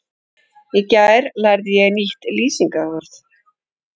Í gær lærði ég nýtt lýsingarorð.